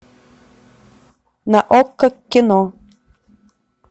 на окко кино